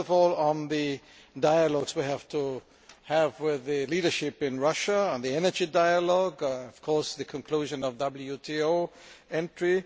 First of all, in the dialogue we have to have with the leadership in Russia and the energy dialogue and, of course, the conclusion of WTO entry.